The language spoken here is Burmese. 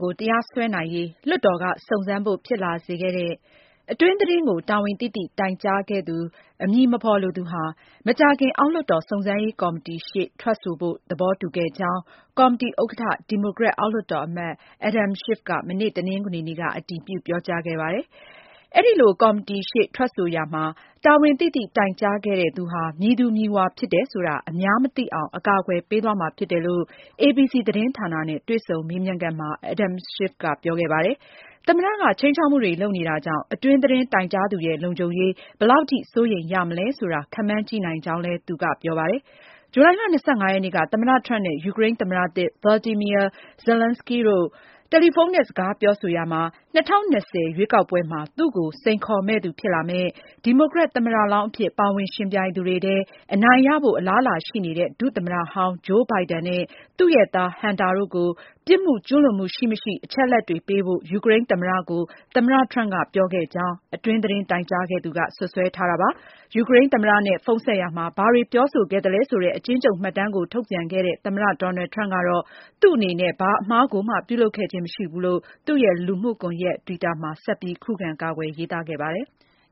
ကို တရားစွဲနိုင်ရေး လွှတ်တော်က စုံစမ်းဖို့ ဖြစ်လာစေခဲ့တဲ့ အတွင်းသတင်းကို တာဝန်သိသိ တိုင်ကြားခဲ့သူ အမည်မဖော်လိုသူဟာ မကြာခင် အောက်လွှတ်တော် စုံစမ်းရေးကော်မတီရှေ့ ထွက်ဆိုဖို့ သဘောတူခဲ့ကြောင်း ကော်မတီဥက္ကဋ္ဌ ဒီမိုကရက် အောက်လွှတ်တော်အမတ် Adam Schiff က မနေ့ တနင်္ဂနွေနေ့က အတည်ပြု ပြောကြားခဲ့ပါတယ်။ အဲဒီလို ကော်တီရှေ့ ထွက်ဆိုရာမှာ တာဝန်သိသိ တိုင်ကြားခဲ့တဲ့သူဟာ မည်သူမည်ဝါဖြစ်တယ်ဆိုတာ အများမသိအောင် အကာအကွယ်ပေးသွားမှာ ဖြစ်တယ်လို့ ABC သတင်းဌာနနဲ့ တွေ့ဆုံမေးမြန်းခန်းမှာ Adam Schiff က ပြောခဲ့ပါတယ်။ သမ္မတက ခြိမ်းခြောက်မှုတွေ လုပ်နေတာကြောင့် အတွင်းသတင်း တိုင်ကြားသူရဲ့ လုံခြုံရေး ဘယ်လောက်ထိ စိုးရိမ်ရမလဲ ခန့်မှန်းကြည့်နိုင်ကြောင်းလည်း သူက ဆိုပါတယ်။ ဇူလိုင်လ ၂၅ ရက်နေ့က သမ္မတ Trump နဲ့ ယူကရိန်းသမ္မတသစ် Volodymyr Zelenskiy တို့ တယ်လီဖုန်းနဲ့ စကားပြောဆိုရာမှာ ၂၀၂၀ ရွေးကောက်ပွဲမှာ သူ့ကို စိန်ခေါ်မယ့်သူ ဖြစ်လာမယ့်၊ ဒီမိုကရက် သမ္မတလောင်းအဖြစ် ပါဝင်ယှဉ်ပြိုင်သူတွေထဲ အနိုင်ရဖို့ အလားအလာရှိနေတဲ့ ဒုသမ္မတဟောင်း Joe Biden နဲ့ သူ့ရဲ့သား Hunter တို့ကို ပြစ်မှုကျူးလွန်မှု ရှိမရှိ အချက်အလက်တွေပေးဖို့ ယူကရိန်းသမ္မတကို သမ္မတ Trump က ပြောခဲ့ကြောင်း အတွင်းသတင်း တိုင်ကြားခဲ့သူက စွပ်စွဲထားတာပါ။ ယူကရိန်းသမ္မတနဲ့ ဖုန်းဆက်ရာမှာ ဘာတွေပြောဆိုခဲ့သလဲဆိုတဲ့ အကျဉ်းချုပ်မှတ်တမ်းကို ထုတ်ပြန်ခဲ့တဲ့ သမ္မတ Donald Trump ကတော့ သူ့အနေနဲ့ ဘာအမှားကိုမှ ပြုလုပ်ခဲ့ခြင်း မရှိဘူးလို့ သူ့ရဲ့ လူမှုကွန်ရက် Twitter မှာ ဆက်ပြီး ခုခံကာကွယ် ရေးသားခဲ့ပါတယ်။